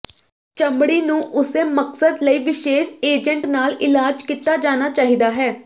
ਚਮੜੀ ਨੂੰ ਉਸੇ ਮਕਸਦ ਲਈ ਵਿਸ਼ੇਸ਼ ਏਜੰਟ ਨਾਲ ਇਲਾਜ ਕੀਤਾ ਜਾਣਾ ਚਾਹੀਦਾ ਹੈ